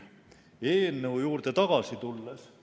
Eelnõu juurde tagasi tulles ...